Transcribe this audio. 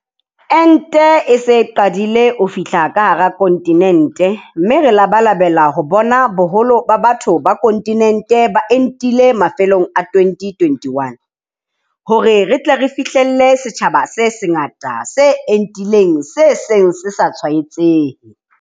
Ente e se e qadile ho fihla ka hara kontinente mme re labalabela ho bona boholo ba batho ba kontinente ba entile mafelong a 2021, hore re fihlelle setjhaba se sengata se entileng se seng se sa tshwaetsehe.